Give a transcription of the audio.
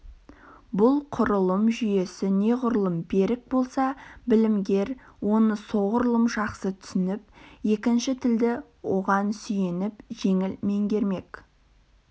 бұл құрылым жүйесі неғұрлым берік болса білімгер оны соғұрлым жақсы түсініп екінші тілді оған сүйеніп жеңіл меңгермек